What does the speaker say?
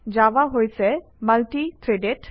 Java হৈছে multi threaded